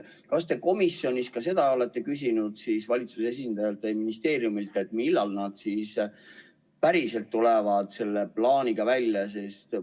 Kas te komisjonis seda olete küsinud valitsuse esindajalt või ministeeriumilt, millal nad päriselt tulevad selle plaaniga välja?